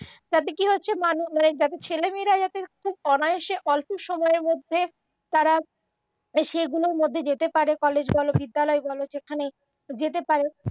তাতে কি হয়েছে যাতে ছেলেমেয়েরা খুব অনায়াসে অল্প সময়ের মধ্যে তারা সেগুলোর মধ্যে যেতে পারে কলেজ বল বিদ্যালয় বল যেখানেই যেতে পারে